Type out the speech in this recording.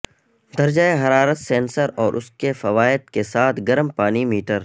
درجہ حرارت سینسر اور اس کے فوائد کے ساتھ گرم پانی میٹر